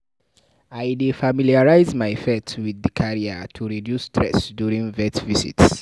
I dey familiarize my pet with di carrier to reduce stress before vet visits.